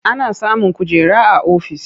Ana samun kujera a ofis.